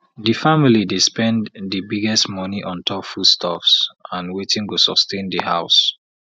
di family dey spend di biggest money on top foodstuffs and wetin go sustain di house